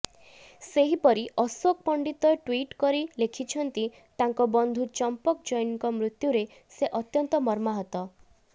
ସେହିପରି ଅଶୋକ ପଣ୍ଡିତ ଟ୍ବିଇଟ୍ କରି ଲେଖିଛନ୍ତି ତାଙ୍କ ବନ୍ଧୁ ଚମ୍ପକ ଜୈନଙ୍କ ମୃତ୍ୟୁରେ ସେ ଅତ୍ୟନ୍ତ ମର୍ମାହତ